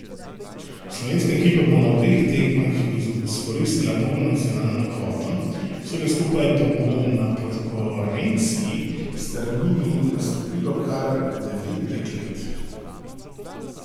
Slovenska ekipa bo na obeh tekmah izkoristila polno nacionalno kvoto, vsega skupaj pa bo na podkorenski strmini nastopilo kar devet deklet.